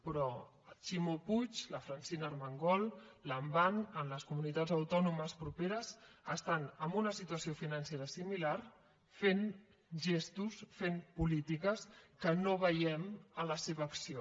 però ximo puig la francina armengol lambán en les comunitats autònomes properes estan en una situació financera similar fent gestos fent polítiques que no veiem en la seva acció